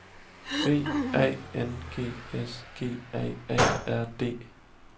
V A N G S G A A R D